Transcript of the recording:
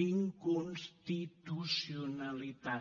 d’inconstitucionalitat